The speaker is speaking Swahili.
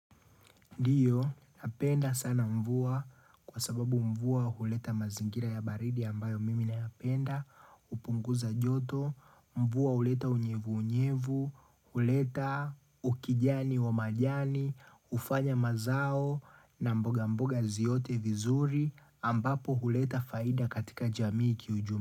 Ndiyo, napenda sana mvua kwa sababu mvua huleta mazingira ya baridi ambayo mimi nayapenda, upunguza joto, mvua huleta unyevu unyevu, huleta ukijani wa majani, ufanya mazao na mboga mboga ziote vizuri ambapo huleta faida katika jamii kiujumi.